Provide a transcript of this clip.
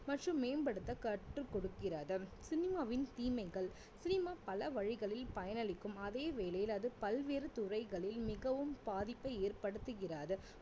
மற்றும் மேம்படுத்த கற்றுக் கொடுக்கிறது சினிமாவின் தீமைகள் சினிமா பல வழிகளில் பயனளிக்கும் அதே வேளையில் அது பல்வேறு துறைகளில் மிகவும் பாதிப்பை ஏற்படுத்துகிறது